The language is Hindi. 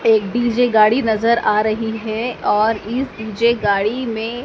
एक डी_जे गाड़ी नजर आ रही है और इस डी_जे गाड़ी में--